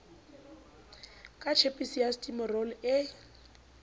ka tjhepisi ya stimorol e